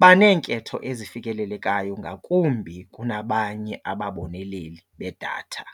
Baneenketho ezifikelelekayo ngakumbi kunabanye ababoneleli bedatha.